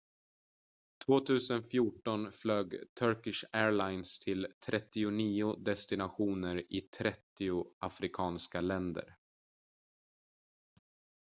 2014 flög turkish airlines till 39 destinationer i 30 afrikanska länder